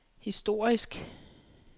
historisk